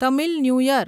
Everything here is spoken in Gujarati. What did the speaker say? Tamil new year